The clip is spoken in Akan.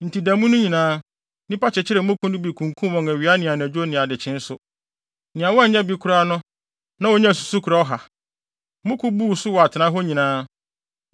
Enti da mu no nyinaa, nnipa kyekyeree mmoko no bi kunkum wɔn awia ne anadwo ne nʼadekyee nso. Nea wannya bi no koraa na onyaa susukoraa ɔha! Mmoko buu so wɔ atenae hɔ nyinaa.